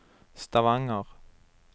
Stavanger